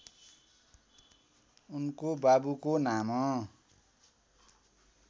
उनको बाबुको नाम